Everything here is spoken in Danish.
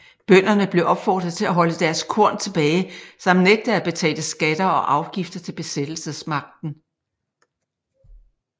Bønderne blev opfordret til at holde deres korn tilbage samt nægte at betale skatter og afgifter til besættelsesmagten